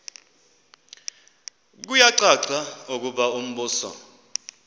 kuyacaca ukuba umbuso